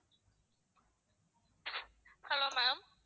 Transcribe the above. hello ma'am